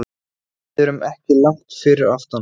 Við erum ekki langt fyrir aftan.